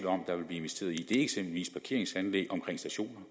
om der vil blive investeret i er eksempelvis parkeringsanlæg omkring stationerne